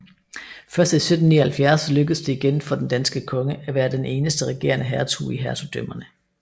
Først i 1779 lykkedes det igen for den danske konge at være den eneste regerende hertug i hertugdømmerne